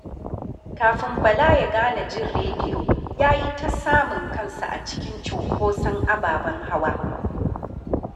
Kafin Bala ya gane jin rediyo. ya yi ta samun kansa a cikin cunkoson ababen hawa